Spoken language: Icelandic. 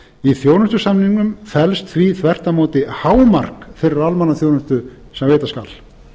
í þjónustusamningnum felst því þvert á móti hámark þeirrar almannaþjónustu sem veitt skal